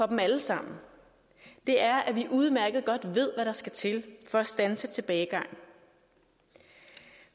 dem alle sammen er at vi udmærket godt ved hvad der skal til for at standse tilbagegangen